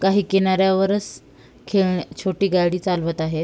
काही किनाऱ्यावरच खे छोटी गाडी चालवत आहेत.